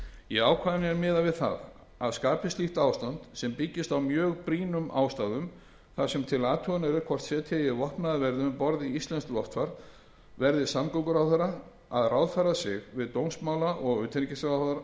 í ákvæðinu er miðað við það að skapist slíkt ástand sem byggist á mjög brýnum ástæðum þar sem til athugunar er hvort setja eigi vopnaða verði um borð í íslenskt loftfar verði samgönguráðherra að ráðfæra sig við dómsmála og utanríkisráðherra áður